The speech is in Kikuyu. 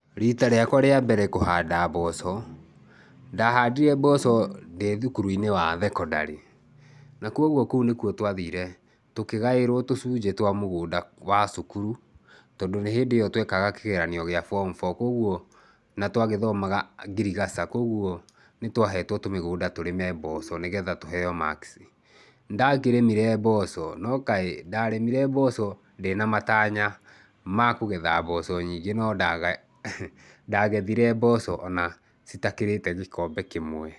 Rita rĩkwa rĩa mbere kũhanda mboco, ndahandire mboco ndĩ thukuru-inĩ wa thekondarĩ, na kwoguo kũu nĩkuo twathire tũkĩgaĩrwo tũcũnjĩ twa mũgũnda wa cukuru tondũ nĩ hĩndĩ ĩyo twekaga kĩgeranio gĩa form four. Koguo, na twagĩthomaga Ngirigaca, koguo nĩ twahetwo tũmĩgũnda tũrĩme mboco nĩgetha tũheo marks. Nĩ ndakĩrĩmire mboco no kaĩ, ndarĩmire mboco ndĩna matanya ma kũgetha mboco nyingĩ no ndagethire mboco ona citakĩrĩte gĩkombe kĩmwe.